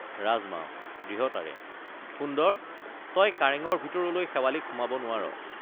ৰাজমাও— দৃঢ়তাৰে সুন্দৰ তই কাৰেঙৰ ভিতৰলৈ শেৱালিক সুমাব নোৱাৰ।